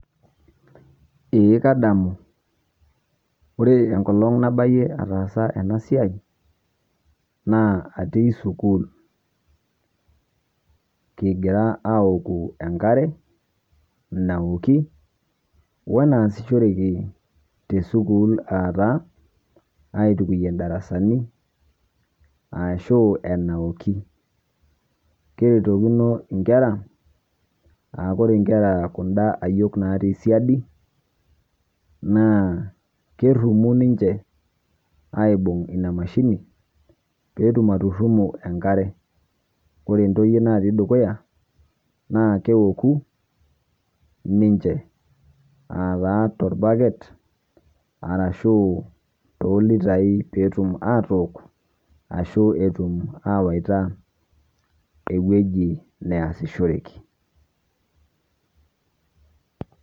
Eeh kadamu ore enkolong' naabaiye ataasa ana siai naa atii sukuul. Kigiraa aouku enkare naooki o naashishoreki te sukuul ataa aituukuiye ndaarasani arasho enaoki. Keutokino nkeraa aore nkeraa kundaa aiyook naatii shaadi naa keeruumu ninchee aibuung' enia maashini peetum aturuumu enkare. Ore entoiyie natii edukuya naa keokuu ninchee alaa te elbaaket arashu to liitai pee etuum atook ashoo etuum awetaa ewueji neashishoreki.